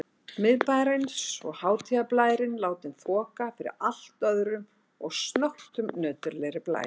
Miðbæjarins og hátíðarblærinn látinn þoka fyrir allt öðrum og snöggtum nöturlegri blæ.